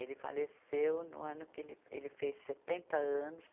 Ele faleceu no ano que ele, ele fez setenta anos.